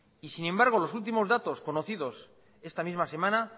y sin embargo los últimos datos conocidos esta misma semana